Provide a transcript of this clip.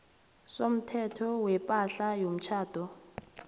somthetho wepahla yomtjhado